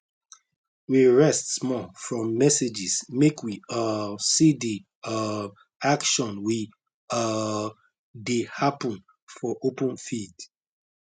we rest small from messages make we um see the um action we um dey happen for open field